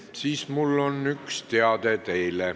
Siis mul on teile üks teade.